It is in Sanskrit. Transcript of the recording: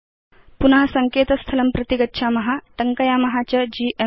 पुन सङ्केतस्थलं प्रति गच्छाम टङ्कयाम च जीएमए